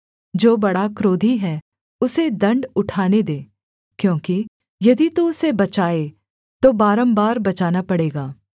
जो बड़ा क्रोधी है उसे दण्ड उठाने दे क्योंकि यदि तू उसे बचाए तो बारम्बार बचाना पड़ेगा